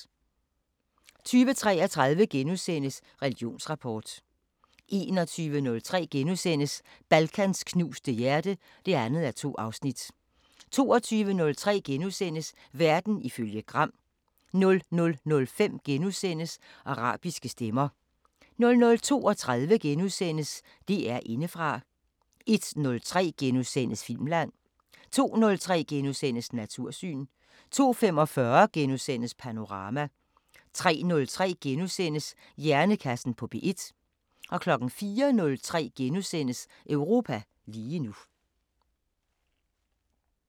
20:33: Religionsrapport * 21:03: Balkans knuste hjerte (2:2)* 22:03: Verden ifølge Gram * 00:05: Arabiske Stemmer * 00:32: DR Indefra * 01:03: Filmland * 02:03: Natursyn * 02:45: Panorama * 03:03: Hjernekassen på P1 * 04:03: Europa lige nu *